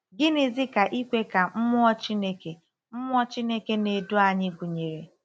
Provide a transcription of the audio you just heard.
Gịnịzi ka ikwe ka mmụọ Chineke mmụọ Chineke na-edu anyị gụnyere?